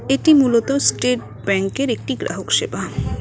এটি মূলত স্টেট ব্যাঙ্কের একটি গ্রাহকসেবা।